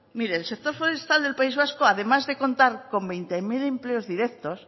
mire el sector forestal del país vasco además de contar con veinte mil empleos directos